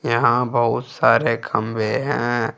यहा बहुत सारे खंबे हैं।